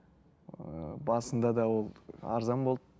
ыыы басында да ол арзан болды